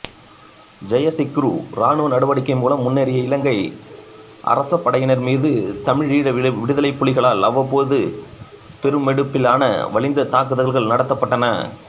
ஜெயசிக்குறு இராணுவ நடவடிக்கை மூலம் முன்னேறிய இலங்கை அரசபடையினர் மீது தமிழீழ விடுதலைப்புலிகளால் அவ்வப்போது பெருமெடுப்பிலான வலிந்த தாக்குதல்கள் நடத்தப்பட்டன